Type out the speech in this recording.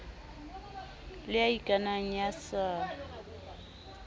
le ya ikanang ya sa